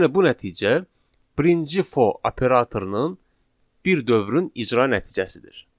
Yəni bu nəticə birinci for operatorunun bir dövrün icra nəticəsidir.